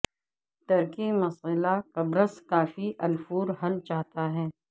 ترکی مسئلہ قبرص کا فی الفور حل چاہتا ہے